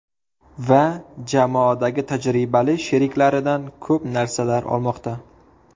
Va jamoadagi tajribali sheriklaridan ko‘p narsalar olmoqda.